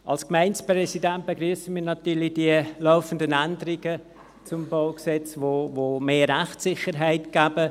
Als Gemeindepräsident begrüsse ich natürlich die laufenden Änderungen zum BauG, weil sie mehr Rechtssicherheit geben.